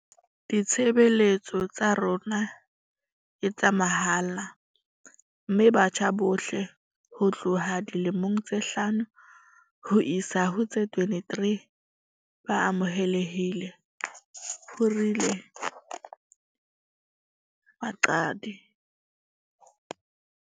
Ditshebeletso tsa rona ke tsa mahala mme batjha bohle ho tloha dilemong tse hlano ho isa ho tse 23 ba amohelehile," ho rialo Mqadi.